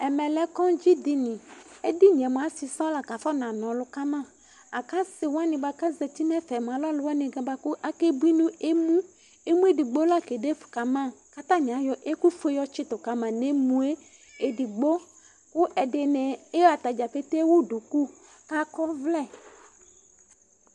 Ɛmɛ lɛ kɔdzi dini édini mua asi sɔ la ka fɔ na nɔlu kama laku asi wani ka zɛti nɛ fɛ moa alɛ alu wani boaku akébui nu ému ému édigbo laké défu kama ka atani ayɔ ɛku fué tchitu ka ma né mué édigbo ku ɛdini iya atadza pété éwu duku ka akɔ ɔvlɛ